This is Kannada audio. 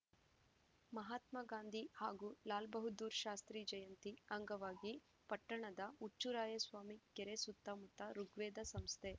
ಮಹಾತ್ಮಗಾಂಧಿ ಹಾಗೂ ಲಾಲ್‌ಬಹದ್ದೂರ್‌ ಶಾಸ್ತ್ರಿ ಜಯಂತಿ ಅಂಗವಾಗಿ ಪಟ್ಟಣದ ಹುಚ್ಚುರಾಯಸ್ವಾಮಿ ಕೆರೆ ಸುತ್ತಮುತ್ತ ಋುಗ್ವೇದ ಸಂಸ್ಥೆ